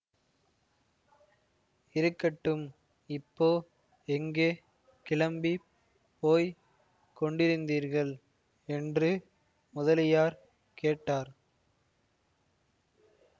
இருக்கட்டும் இப்போ எங்கே கிளம்பி போய் கொண்டிருந்தீர்கள் என்று முதலியார் கேட்டார்